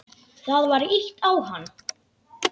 Það var ýtt á hann.